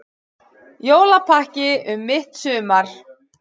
Jólapakki um mitt sumar